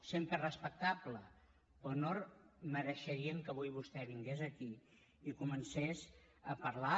sempre és respectable però no mereixerien que avui vostè vingués aquí i comencés a parlar